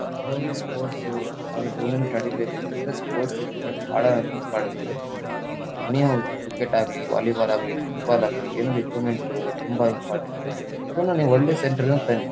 ಯಾವುದೇ ವೊಂದು ಸ್ಪೋರ್ಟ್ಸ್ ಸು ಟೂರ್ನಮೆಂಟ್ ನಡಿಬೇಕ್ ಅಂದ್ರು ಸ್ಪೋರ್ಟ್ಸ್ ಇಕ್ವಿಪ್ಮೆಂಟ್ ಬಹಳ ನಮಗೆ ಇಂಪಾರ್ಟೆಂಟ್ ಎನಿ ಹೌ ಕ್ರಿಕೆಟ್ ಆಗ್ಲಿ ವಾಲಿಬಾಲ್ ಆಗ್ಲಿ ಫುಟ್ಬಾಲ್ ಆಗ್ಲಿ ಇಕ್ವಿಪ್ಮೆಂಟ್ ತುಂಬ ಇಂಪಾರ್ಟೆಂಟ್ ಅದನ್ನ ನೀವು ಒಳ್ಳೆ ಸೆಂಟರ್ ಇಂದ ತನ್ನಿ.